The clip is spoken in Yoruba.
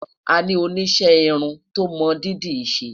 àní oníṣe irin tó mọ dídì ṣé